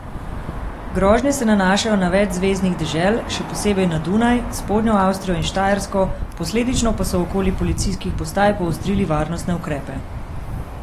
Grožnje se nanašajo na več zveznih dežel, še posebej na Dunaj, Spodnjo Avstrijo in Štajersko, posledično pa so okoli policijskih postaj poostrili varnostne ukrepe.